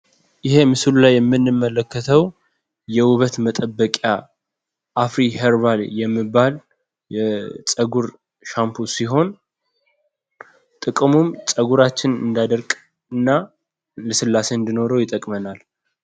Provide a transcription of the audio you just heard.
ይሄ ምስሉ ላይ የምንመለከተው የዉበት መጠበቂያ አፍሪ ሀርባል የሚባል የጸጉር የጸጉር ሻምፖ ሲሆን ጥቅሙም ጸጉራችን እንዳይደርቅ እና ልስላሴ እንዲኖረው ይጠቅመናል።